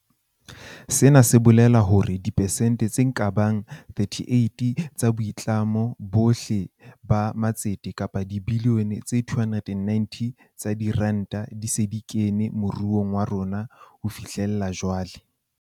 Sena se bolela hore dipersente tse ka bang 38 tsa boitlamo bohle ba matset kapa dibilione tse 290 tsa diranta di se di kene moruong wa rona ho fihlela jwale.